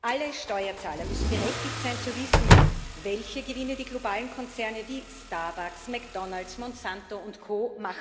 Alle Steuerzahler müssen berechtigt sein zu wissen, welche Gewinne die globalen Konzerne wie Starbucks, McDonalds, Monsanto Co.